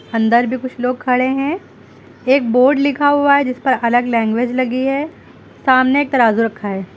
अंदर भी कुछ लोग खड़े हैं एक बोर्ड लिखा हुआ है जिस पर अलग लैंग्वेज लगी है सामने एक तराजू रखा है।